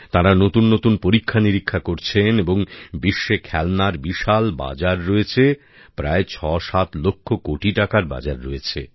তাঁরা নতুন নতুন পরীক্ষানিরীক্ষা করছেন এবং বিশ্বে খেলনার বিশাল বাজার রয়েছে প্রায় ৬৭ লক্ষ কোটি টাকার বাজার রয়েছে